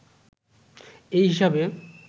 এই হিসাবে